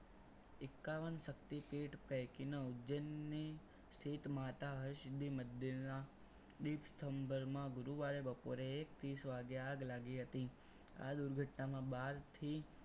એકાવન શક્તિપીઠ પૈકીનો ઉજ્જૈનની સ્થિતમાતા હર્ષદી મંદિર સંબરમાં ગુરુવારે બપોરે એક ત્રીસ વાગે આગ લાગી હતી. આ દુર્ઘટનામાં બારથી